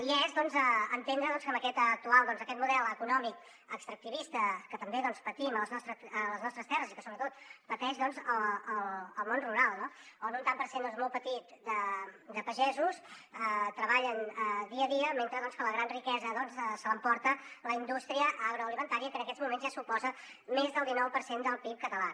i és entendre aquest actual model econòmic extractivista que també patim a les nostres terres i que sobretot pateix el món rural no on un tant per cent molt petit de pagesos treballen dia a dia mentre que la gran riquesa se l’emporta la indústria agroalimentària que en aquests moments ja suposa més del dinou per cent del pib català